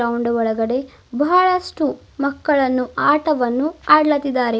ಉಂಡ ಒಳಗಡೆ ಬಹಳಷ್ಟು ಮಕ್ಕಳನ್ನು ಆಟವನ್ನು ಅಡ್ಲಾತಿದಾರೆ.